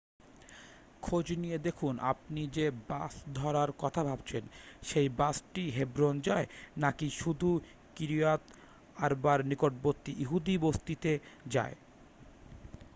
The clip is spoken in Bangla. খোঁজ নিয়ে দেখুন আপনি যে বাস ধরার কথা ভাবছেন সেই বাসটি হেব্রন যায় নাকি শুধু কিরিইয়াত আরবার নিকটবর্তী ইহুদি বসতিতে যায়